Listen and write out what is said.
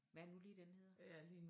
Hvad er det nu lige den hedder?